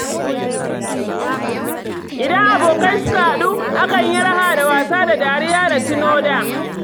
Idan abokai suka haɗu, akan yi raha da wasa da dariya da tuno da.